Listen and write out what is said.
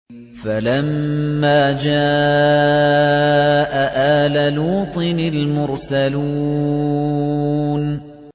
فَلَمَّا جَاءَ آلَ لُوطٍ الْمُرْسَلُونَ